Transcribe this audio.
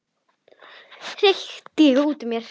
hreyti ég út úr mér.